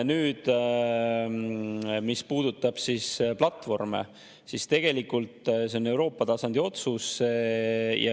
Nüüd, mis puudutab platvorme, siis tegelikult see on Euroopa tasandi otsus.